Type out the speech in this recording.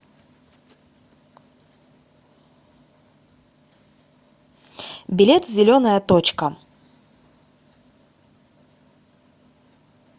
билет зеленая точка